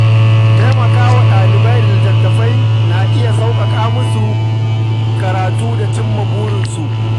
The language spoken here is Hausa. Taimaka wa ɗalibai da littattafai na iya sauƙaƙa musu karatu da cimma burinsu.